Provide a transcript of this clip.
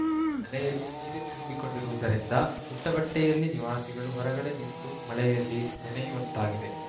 ಮನೆಯಲ್ಲಿ ನೀರು ತುಂಬಿಕೊಂಡಿರುವುದರಿಂದ ಉಟ್ಟಬಟ್ಟೆಯಲ್ಲಿ ನಿವಾಸಿಗಳು ಹೊರಗಡೆ ನಿಂತು ಮಳೆಯಲ್ಲಿ ನೆನೆಯುವಂತಾಗಿದೆ